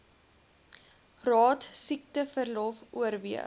raad siekteverlof oorweeg